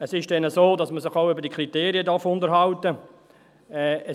Weiter ist es so, dass man sich auch über die Kriterien unterhalten darf.